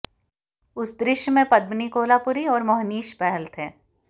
उस दृश्य में पद्मिनी कोल्हापुरी और मोहनीश बहल थे